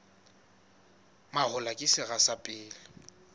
mahola ke sera sa pele